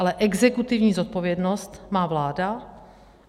Ale exekutivní zodpovědnost má vláda.